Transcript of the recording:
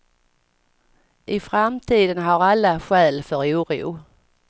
I framtiden har alla skäl för oro.